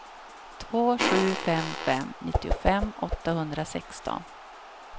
två sju fem fem nittiofem åttahundrasexton